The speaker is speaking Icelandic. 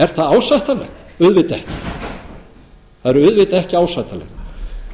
er það ásættanlegt auðvitað ekki það verður auðvitað ekki ásættanlegt